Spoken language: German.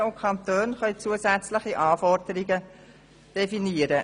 Die Gemeinden und die Kantone können zusätzliche Anforderungen definieren.